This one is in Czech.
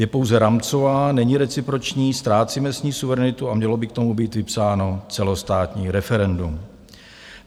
Je pouze rámcová, není reciproční, ztrácíme s ní suverenitu a mělo by k tomu být vypsáno celostátní referendum.